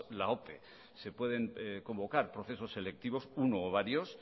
la ope se pueden convocar procesos selectivos uno o varios